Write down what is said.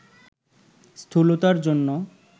স্থূলতার জন্য